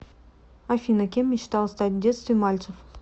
афина кем мечтал стать в детстве мальцев